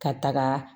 Ka taga